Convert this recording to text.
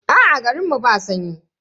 Aa, garin mu ba sanyi.